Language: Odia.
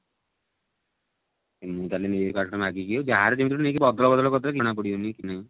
ହୁଁ ତାହେଲେ ନେଇଆସିବି କାଲି ଠୁ ମାଗିକି ଯାହାର ଯେମିତି ଗୋଟେ ନେଇକି ଅଦଳ ବଦଳ କରିଦେଲେ ଜଣା ପଡିବନି